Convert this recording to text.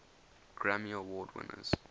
grammy award winners